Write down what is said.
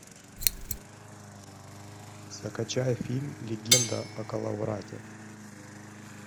закачай фильм легенда о коловрате